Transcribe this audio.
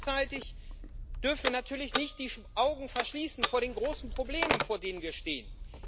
Gleichzeitig dürfen wir natürlich nicht die Augen verschließen vor den großen Problemen, vor denen wir stehen.